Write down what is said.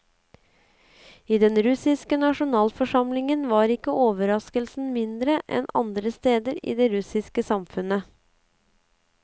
I den russiske nasjonalforsamlingen var ikke overraskelsen mindre enn andre steder i det russiske samfunnet.